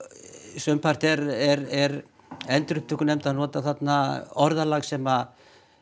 sumpart er er er endurupptökunefnd að nota orðalag sem